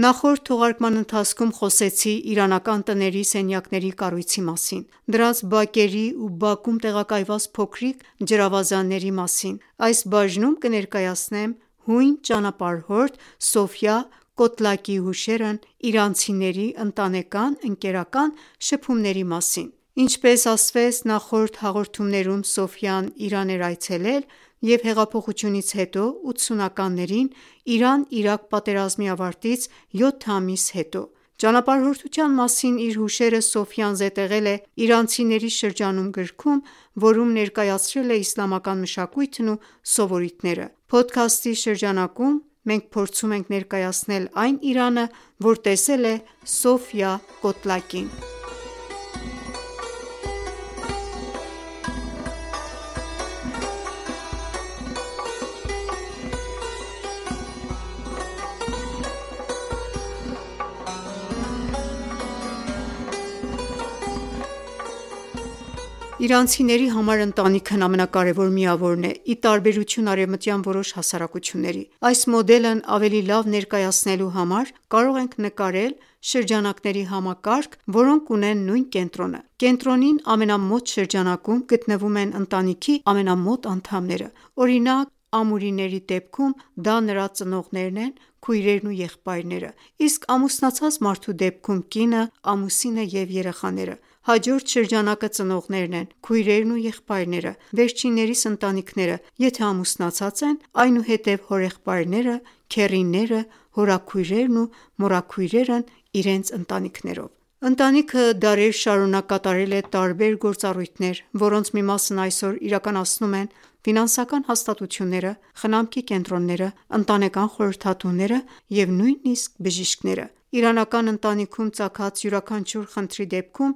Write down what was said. Նախորդ թողարկման ընթացքում խոսեցի իրանական տների սենյակների կառույցի մասին, դրանց բակերի ու բակում տեղակայված փոքրիկ ջրավազանների մասին: Այս բաժնում կներկայացնեմ հույն ճանապարհորդ Սոֆիա Կոտլակիի հուշերն իրանցիների ընտանեկան, ընկերական շփումների մասին։ Ինչպես ասվեց նախորդ հաղորդումներում, Սոֆիան Իրան էր այցելել է հեղափոխությունից հետո՝ 80-ականներին, Իրան- Իրաք պատերազմի ավարտից 7 ամիս հետո։ Ճանապարհորդության մասին իր հուշերը Սոֆիան զետեղել է․ «Իրանցիների շրջանում» գրքում, որում ներկայացրել է իսլամական մշակույթն ու սովորույթները։ Փոդքասթի շրջջանակում մենք փորձում ենք ներկայացնել այն Իրանը, որ տեսել է Սոֆիա Կոտլակին։ Իրանցիների համար ընտանիքն ամենակարևոր միավորն է, ի տարբերություն արևմտյան որոշ հասարակությունների։ Այս մոդելն ավելի լավ ներկայացնելու համար, կարող ենք նկարել շրջանակների համակարգ, որոնք ունեն նույն կենտրոնը։ Կենտրոնին ամենամոտ շրջանակում գտնվում են ընտանիքի ամենամոտ անդամները։ Օրինակ ամուրիների դեպքում դա նրա ծնողներն են, քույրերն ու եղբայրները, իսկ ամուսնացած մարդու դեպքում՝ կինը/ամուսինը և երեխաները։ Հաջորդ շրջանակը ծնողներն են, քույրերն ու եղբայրները, վերջիններիս ընտանքիները, եթե ամուսնացած են, այնուհետև՝ հորեղբայրները, քեռիները, հորաքույրերն ու մորաքույրերն իրենց ընտանիքներով։ Ընտանքիը դարեր շարունակ կատարել է տարբեր գործառույթներ, որոնց մի մասն այսօր իրականացնում են ֆինանսական հաստատությունները, խնամքի կենտրոնները, ընտանեկան խորհրդատուները և նույնիսկ բժիշկները: Իրանական ընտանիքում ծագած յուրաքանչյուր խնդրի դեպքում